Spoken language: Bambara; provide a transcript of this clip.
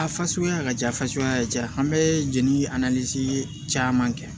A fasuguya ka ca fasuguya ka ca an bɛ jeli a caman kɛ